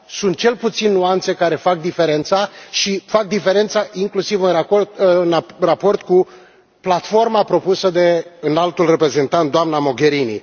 Sunt cel puțin nuanțe care fac diferența și fac diferența inclusiv în raport cu platforma propusă de Înaltul Reprezentant, doamna Mogherini.